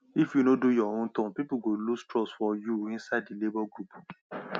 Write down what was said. if you no do your own turn people go lose trust for you inside the labor group